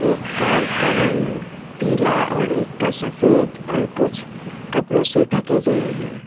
एक कार का रंग पीला और एक का सफेद और कुछ कपड़ों से ढके गए हैं।